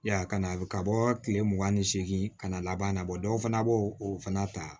Ya kana a ka bɔ kile mugan ni seegin ka na laban na bɔ dɔw fana b'o o fana ta